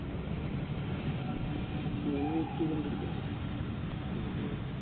അയിന് wait ചെയ്തുകൊണ്ടിരിക്ക